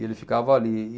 E ele ficava ali.